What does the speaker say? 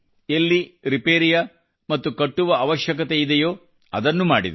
ಎಲ್ಲಿ ರಿಪೇರಿಯ ಮತ್ತು ಕಟ್ಟುವ ಅವಶ್ಯಕತೆಯಿದೆಯೋ ಅದನ್ನು ಮಾಡಿದರು